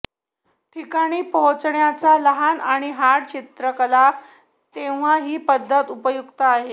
ठिकाणी पोहोचण्याचा लहान आणि हार्ड चित्रकला तेव्हा ही पद्धत उपयुक्त आहे